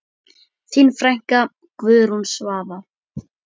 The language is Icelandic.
Þín frænka, Guðrún Svava.